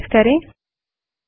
enter press करें